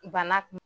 Bana kun